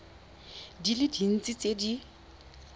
di le dintsi tse di